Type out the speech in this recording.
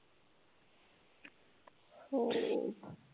हो.